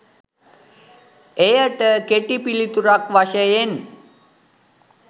එයට කෙටි පිළිතුරක් වශයෙන්